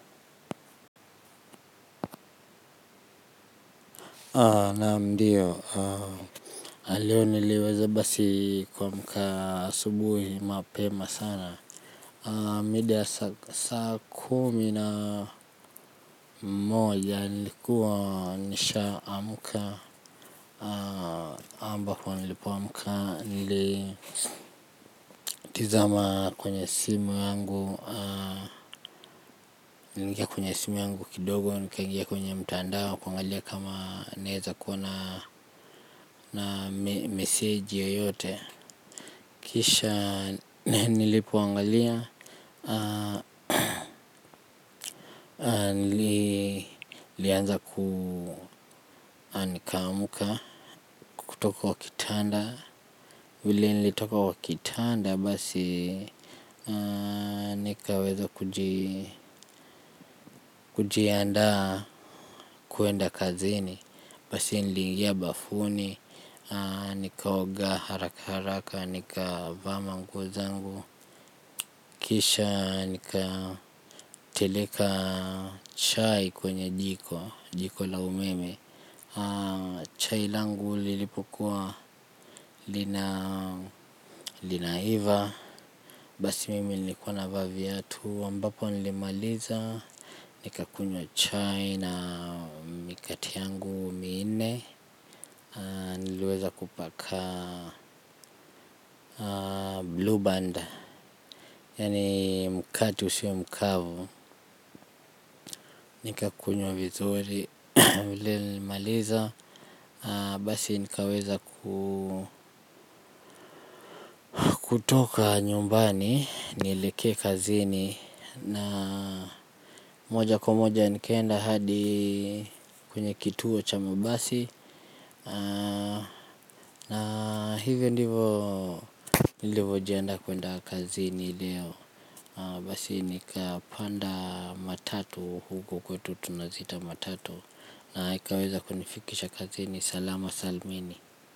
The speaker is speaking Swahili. Naam ndiyo. Leo niliweza basi kuamka asubuhi mapema sana. Mida ya saa kumi na moja nilikuwa nishaamka ambapo nilipoamka nilitizama kwenye simu yangu. Nilingia kwenye simu yangu kidogo nikangia kwenye mtandao kuangalia kama naeza kuona na message yoyote. Kisha nilipoangalia, nilianza ku nikaamka kutoka kwa kitanda. Vile nilitoka kwa kitanda basi nikawezo kujianda kwenda kazini. Basi nilingia bafuni, nikaoga haraka haraka, nikavaa manguo zangu. Kisha nikateleka chai kwenye jiko, jiko la umeme. Chai langu lilipokuwa linaiva. Basi mimi nilikua navaa viatu ambapo nilimaliza. Nikakunywa chai na mikate yangu miine. Niliweza kupaka blue band. Yaani mkatu sio mkavu. Nikakunywa vizuri vile. Nilimaliza. Basi nikaweza kutoka nyumbani. Nilekee kazini na moja kwa moja nikaenda hadi kwenye kituo cha mabasi. Na hivyo ndivo nilivyojianda kwenda kazini leo. Basi nikapanda matatu. Huko kwetu tunaziita matatu. Na ikaweza kunifikisha kazini salama salmini.